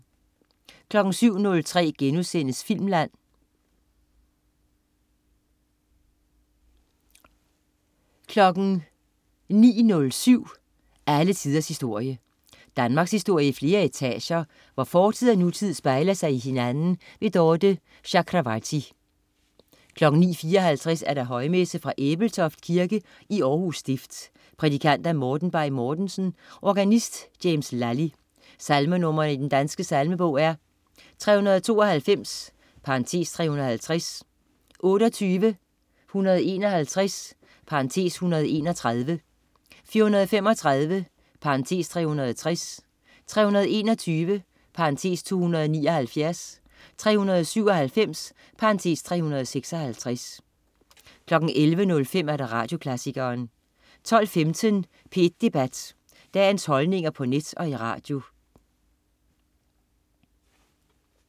07.03 Filmland* 08.03 Tro og eksistens. Anders Laugesen 09.07 Alle tiders historie. Danmarkshistorie i flere etager, hvor fortid og nutid spejler sig i hinanden. Dorthe Chakravarty 09.54 Højmesse. Fra Ebeltoft Kirke, Århus stift. Prædikant: Morten Bay-Mortensen. Organist: James Lally. Salmenr. i Den Danske Salmebog: 392 (350), 28, 151 (131), 435 (360), 321 (279), 397 (356) 11.05 Radioklassikeren 12.15 P1 Debat. Dagens holdninger på net og i radio